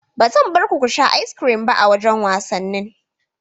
Ba zan barku kusha As-kirin ba a wajan wasannin